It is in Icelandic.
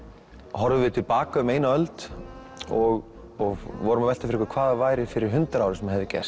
horfðum við til baka um eina öld og vorum að velta fyrir okkur hvað væri fyrir hundrað árum sem hefði gerst